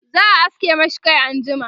za'a aske mashi Kai anjima